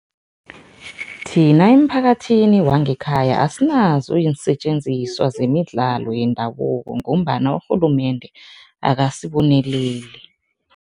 Thina emphakathini wangekhaya asinazo iinsetjenziswa zemidlalo yendabuko ngombana urhulumende akasiboneleli.